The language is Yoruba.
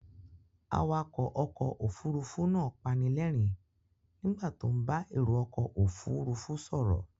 Awakọ̀ ọkọ̀ Òfurufú náà panilerin nígbà tó ń bá èrò ọkọ òfuurufú ṣòro